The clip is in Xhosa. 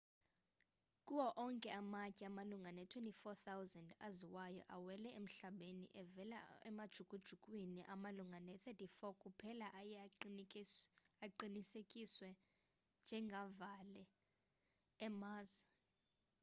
kuwo onke amatye amalunga ne-24,000 aziwayo awele emhlabeni evela emajukujukwini amalunga ne-34 kuphela aye aqinisekiswe njengavela e-mars